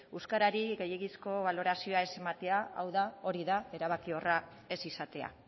euskarari gehiegizko balorazioa ez ematea hau da hori da erabakiorra ez izatea